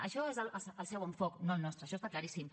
això és el seu enfocament no el nostre això està claríssim